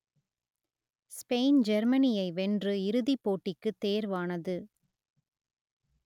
Spain ஜெர்மனியை வென்று இறுதிப் போட்டிக்குத் தேர்வானது